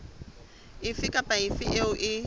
efe kapa efe eo e